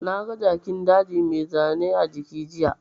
Na ga Jakin daji mai zane a jiki jiya